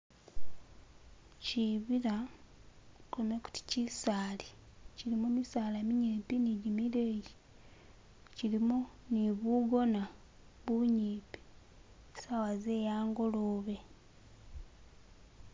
Shibila kulome kuti kisali kilimo misala minyimpi ne jimileyi kilimo ne bugona bunyimpi sawa ze a'ngolobe